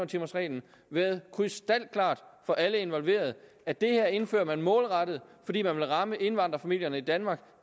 timers reglen været krystalklart for alle involverede at det her indfører man målrettet fordi man vil ramme indvandrerfamilierne i danmark